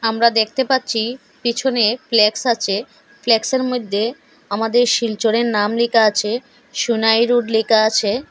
আমরা দেখতে পাচ্ছি পেছনে ফ্ল্যাক্স আছে ফ্ল্যাক্সের মধ্যে আমাদের শিলচরের নাম লেখা আছে সোনাই রোড লেখা আছে।